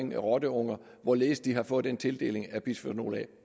med rotteunger hvorledes de har fået den tildeling af bisfenol a